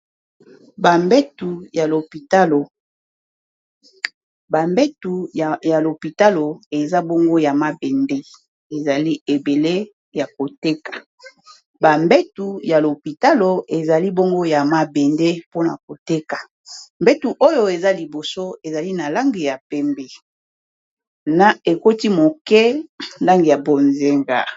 bambetu ya lopitalo eza bongo ya mabende ezali ebele ya koteka ya mabende pona koteka mbetu oyo eza liboso ezali na langi ya pembe na ekoti moke na langi ya bozenga